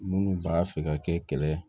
Minnu b'a fɛ ka kɛ kɛlɛ ye